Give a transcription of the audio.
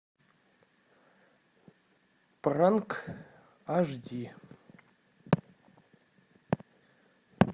пранк ашди